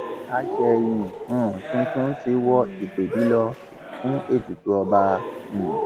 àsẹyìn um tuntun ti wọ ìpẹbí lọ fún ètùtù ọba um